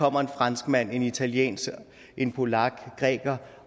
kommer en franskmand en italiener en polak en græker